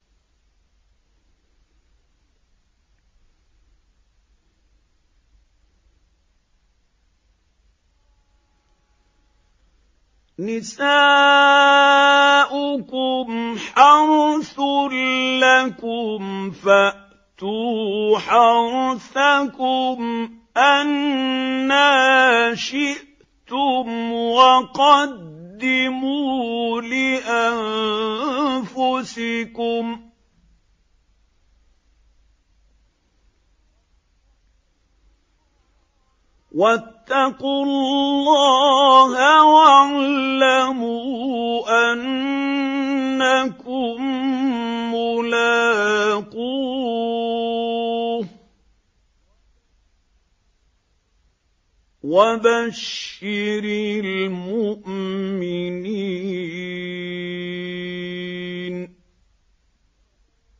نِسَاؤُكُمْ حَرْثٌ لَّكُمْ فَأْتُوا حَرْثَكُمْ أَنَّىٰ شِئْتُمْ ۖ وَقَدِّمُوا لِأَنفُسِكُمْ ۚ وَاتَّقُوا اللَّهَ وَاعْلَمُوا أَنَّكُم مُّلَاقُوهُ ۗ وَبَشِّرِ الْمُؤْمِنِينَ